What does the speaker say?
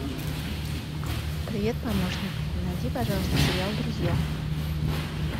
привет помощник найди пожалуйста сериал друзья